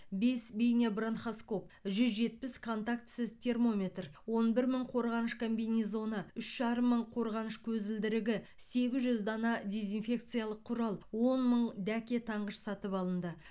бес бейнобронхоскоп жүз жетпіс контактісіз термометр он бір мың қорғаныш комбинезоны үш жарым мың қорғаныш көзілдірігі сегіз жүз дана дезинфекциялық құрал он мың дәке таңғыш сатып алынды